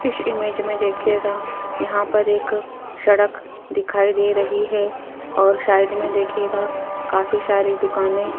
इस इमेज में देखिएगा यहाँ पर एक सड़क दिखाई दे रही हैं और साइड में देखिएगा काफी सारी दुकानें --